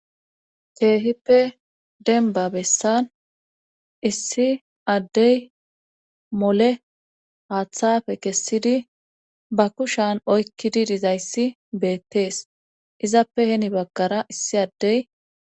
keehippe denba bessan issi addey mole haaththafe kessidi ba kushan oykkidi dizayssi beettees izappe heni baggara issi addey